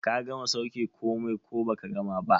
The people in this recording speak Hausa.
Ka gama sauke komai ko baka gama ba?